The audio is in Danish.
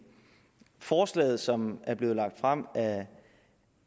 forslaget som er blevet fremsat